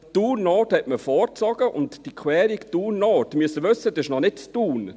Thun Nord zog man vor, und die Querung Thun Nord – das müssen Sie wissen – ist noch nicht in Thun;